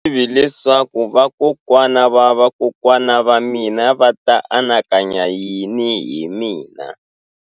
A ndzi tivi leswaku vakokwana-va-vakokwana va mina a va ta anakanya yini hi mina.